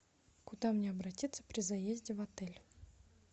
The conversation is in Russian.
куда мне обратиться при заезде в отель